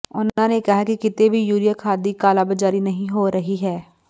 ਉਨ੍ਹਾਂ ਨੇ ਕਿਹਾ ਕਿ ਕਿਤੇ ਵੀ ਯੂਰੀਆ ਖਾਦ ਦੀ ਕਾਲਾਬਾਜ਼ਾਰੀ ਨਹੀਂ ਹੋ ਰਹੀ ਹੈ